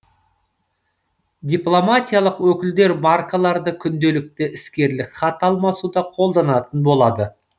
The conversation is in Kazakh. дипломатиялық өкілдер маркаларды күнделікті іскерлік хат алмасуда қолданатын болады